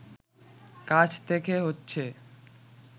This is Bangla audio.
কাছ থেকে হচ্ছে